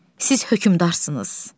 Siz hökmdarsınız.